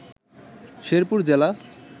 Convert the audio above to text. শেরপুর জেলা